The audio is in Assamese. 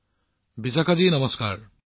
প্ৰধানমন্ত্ৰীঃ বিশাখা জী নমস্কাৰ